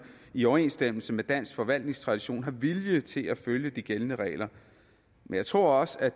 i overensstemmelse med dansk forvaltningstradition har vilje til at følge de gældende regler men jeg tror også